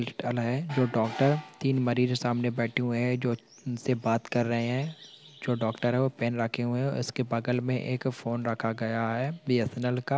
जो डॉक्टर तीन मरीज सामने बैठे हुए हैंजो से बात कर रहे हैं जो डॉक्टर हैं पेन रहा हैं उसके बगल में एक फ़ोन रखा गया हैं बी. एस. एन. एल. का --